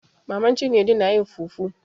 Maman cinedu na yin fufu.